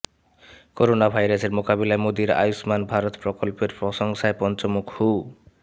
corona ভাইরাসের মোকাবিলায় মোদীর আয়ুষ্মান ভারত প্রকল্পের প্রশংসায় পঞ্চমুখ হু